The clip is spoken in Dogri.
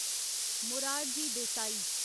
मोरारजी देसाई